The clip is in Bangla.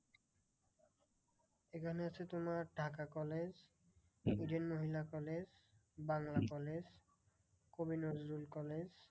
এখানে আছে তোমার ঢাকা college, মহিলা college, বাংলা college, কবি নজরুল college,